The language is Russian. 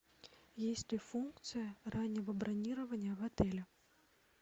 есть ли функция раннего бронирования в отеле